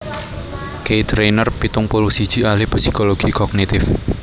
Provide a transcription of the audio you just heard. Keith Rayner pitung puluh siji ahli psikologi kognitif